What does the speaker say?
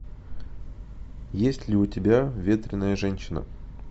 есть ли у тебя ветреная женщина